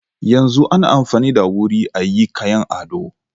Yanzu ana amfani da wuri ayi kayan ado.